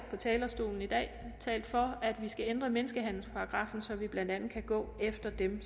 fra talerstolen i dag talt for at ændre menneskehandelsparagraffen så vi bl a kan gå efter dem